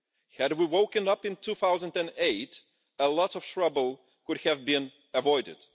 Had we woken up in 2008, a lot of trouble could have been avoided.